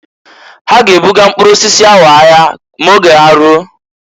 Ha g'ebuga mpkụrụ osisi ahụ ahịa ma oge ya ruo.